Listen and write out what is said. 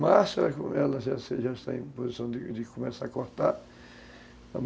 Março, ela já está em posição de de começar a cortar.